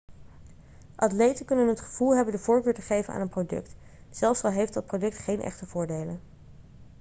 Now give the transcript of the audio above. atleten kunnen het gevoel hebben de voorkeur te geven aan een product zelfs al heeft dat product geen echte voordelen